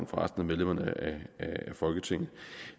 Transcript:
resten af medlemmerne af folketinget